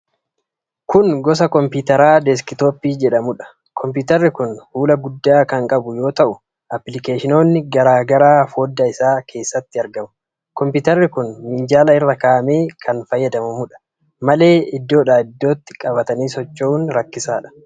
Kun gosa kompiitaraa deeskitooppii jedhamuudha. Kompiitarri kun fuula guddaa kan qabu yoo ta'u, appilikeeshinoonni garaa garaa foddaa isaa keesatti argamu. Kompiitarri kun minjaala irra kaa'amee kan fayyadamamudha. malee iddoodhaa iddootti qabatanii socho'uun rakkisaadha.